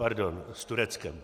Pardon - s Tureckem.